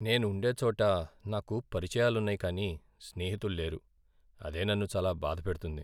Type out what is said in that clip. నేను ఉండే చోట నాకు పరిచయాలున్నాయి కానీ స్నేహితులు లేరు, అదే నన్ను చాలా బాధ పెడుతుంది.